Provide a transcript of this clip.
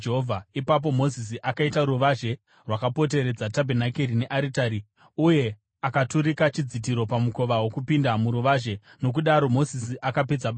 Ipapo Mozisi akaita ruvazhe rwakapoteredza tabhenakeri nearitari uye akaturika chidzitiro pamukova wokupinda muruvazhe. Nokudaro Mozisi akapedza basa.